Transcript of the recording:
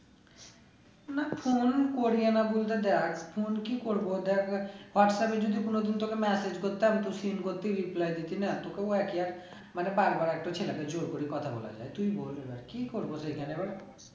না phone করি না বলতে দেখ phone কি করবো দেখ whatsapp এ যদি কোনোদিন তোকে message করতাম তুই seen করতি reply দিতি না বার বার একটা ছেলেকে জোর করে কথা বলা যায় তুই বল এবার কি করবো সেখানে